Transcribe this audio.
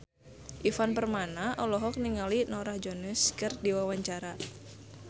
Ivan Permana olohok ningali Norah Jones keur diwawancara